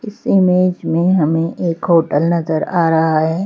इस इमेज में हमें एक होटल नजर आ रहा है।